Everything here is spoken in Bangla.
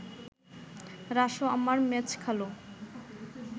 রাসু আমার মেজ খালু